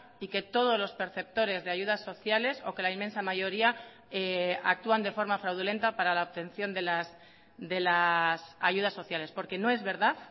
y que todos los perceptores de ayudas sociales o que la inmensa mayoría actúan de forma fraudulenta para la obtención de las ayudas sociales porque no es verdad